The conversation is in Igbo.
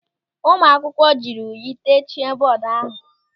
Ụmụ akwụkwọ jiri unyi techie bọọdu ahụ.